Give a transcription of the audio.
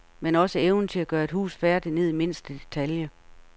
Men også evnen til at gøre et hus færdigt ned i mindste detalje.